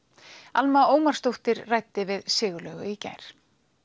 Alma Ómarsdóttir ræddi við Sigurlaugu í gær